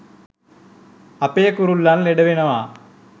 අපේ කුරුල්ලන් ලෙඩ වෙනවා.